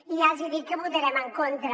i ja els hi dic que hi votarem en contra